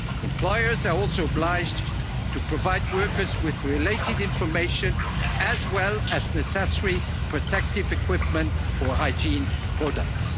exposed. Employers are also obliged to provide workers with related information as well as necessary protective equipment and